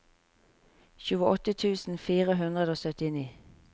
tjueåtte tusen fire hundre og syttini